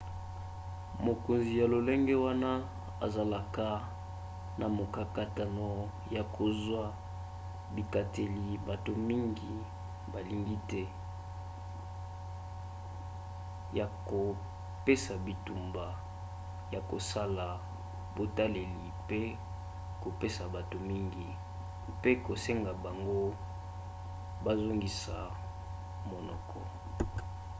mokonzi ya lolenge wana azalaka na mokakatano ya kozwa bikateli bato mingi balingi te ya kopesa bitumba ya kosala botaleli mpe kopesa bato mingi mpe kosenga bango bazongisa monoko